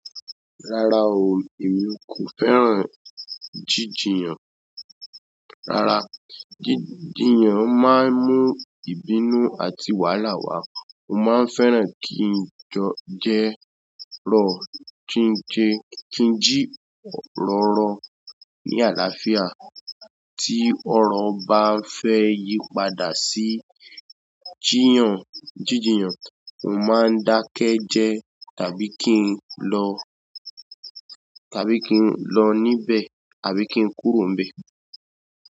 Rárá o, èmi kò fẹ́ràn jijiyan. Rárá, jíjìyàn máa ń mú ìbínú àti wàhálà wá. Mo máa ń fẹ́ràn kí n jo- jẹ lọ, kí n ji ro ro ní àlàáfíà. Tí ọ̀rọ̀ bá fẹ́ yí padà sí ijíyàn, jíjìyàn, mo máa ń dákẹ́ jẹ́ tàbí kí n lọ, tàbí kí n lọ níbẹ̀, àbí kí n kúrò níbẹ̀.